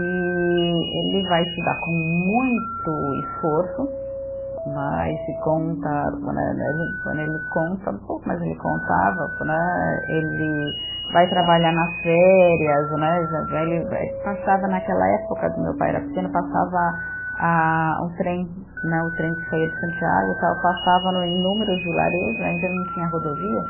E ele vai estudar com muito esforço né, e se conta né né, ele ele conta um pouco, mas ele contava né, ele vai trabalhar nas férias né, ele passava naquela época, meu pai era pequeno, passava a o trem né, o trem que saía de Santiago e tal, passava no inúmeros vilarejos né, ainda não tinha rodovias,